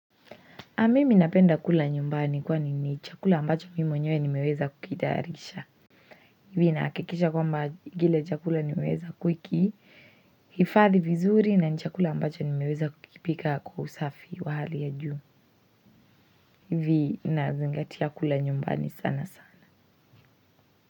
Na mimi napenda kula nyumbani kwani ni chakula ambacho mi mwenyewe nmeeza kukitayarisha nahakikisha kile chakula nmeeza kukihifadhi vizuri na ni chakula ambacho nimeeza kukipika kwa usafi wa hali ya juu. Hivi na zingatia kula nyumbani sana sana.